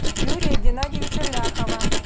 юрия геннадьевича ляхова